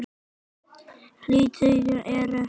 Í liðinu eru